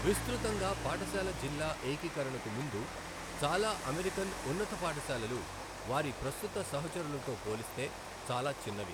విస్తృతంగా పాఠశాల జిల్లా ఏకీకరణకు ముందు, చాలా అమెరికన్ ఉన్నత పాఠశాలలు వారి ప్రస్తుత సహచరులతో పోలిస్తే చాలా చిన్నవి.